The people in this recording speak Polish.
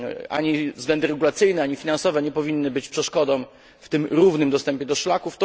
Ani względy regulacyjne, ani finansowe nie powinny być przeszkodą w tym równym dostępie do szlaków.